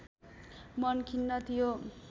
मन खिन्न थियो